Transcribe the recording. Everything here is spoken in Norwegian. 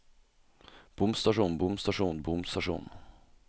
bomstasjon bomstasjon bomstasjon